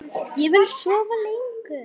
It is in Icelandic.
Vill sofa lengur.